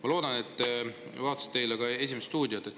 Ma loodan, et te vaatasite eile "Esimest stuudiot".